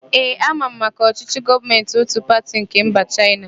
Ee, ama m maka ọchịchị gọọmentị ótù pati nke mba Chaịna.